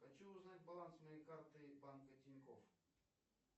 хочу узнать баланс моей карты банка тинькоф